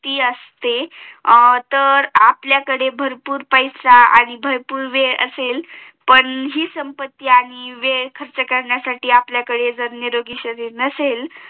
ती असते तर आपल्याकडे भरपूर पैसा आणि भरपूर वेळ असेल पण हि संप्पती आणि वेळ खर्च करण्यासाठी जर आपल्याकडे निरोगी शरीर नसेल